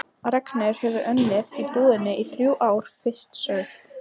Ragnheiður hefur unnið í búðinni í þrjú ár, fyrst sögð